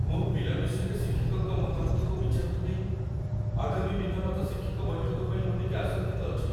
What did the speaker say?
ମୋ ପିଲା ବିଷୟରେ ଶିକ୍ଷକଙ୍କ ମତାମତକୁ ବିଚାରକୁ ନେଇ ଆଗାମୀ ପିତାମାତା ଶିକ୍ଷକ ବୈଠକ ପାଇଁ ମୁଁ ଟିକେ ଆଶଙ୍କିତ ଅଛି।